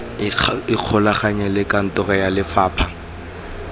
ikgolaganye le kantoro ya lefapha